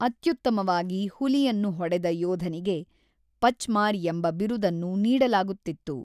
ಅತ್ಯುತ್ತಮವಾಗಿ ಹುಲಿಯನ್ನು ಹೊಡೆದ ಯೋಧನಿಗೆ ಪಚ್ಮಾರ್ ಎಂಬ ಬಿರುದನ್ನು ನೀಡಲಾಗುತ್ತಿತ್ತು.